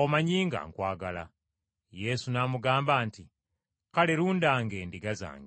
omanyi nga nkwagala.” Yesu n’amugamba nti, “Kale lundanga endiga zange.”